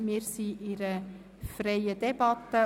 Wir führen eine freie Debatte.